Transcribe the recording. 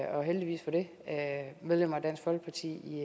og heldigvis for det medlemmer af dansk folkeparti